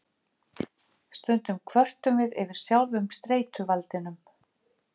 Stundum kvörtum við yfir sjálfum streituvaldinum.